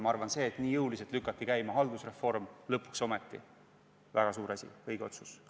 Ma arvan, et see, et nii jõuliselt lükati käima haldusreform, lõpuks ometi, oli väga suur asi – õige otsus.